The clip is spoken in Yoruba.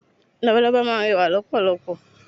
Labalábá máa n rẹwà lọ́pọ̀lọpọ̀